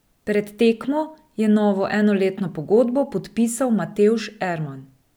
Pred tekmo je novo enoletno pogodbo podpisal Matevž Erman.